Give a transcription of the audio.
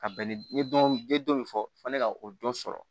Ka bɛn ni dɔ be fɔ fo ne ka o dɔ sɔrɔ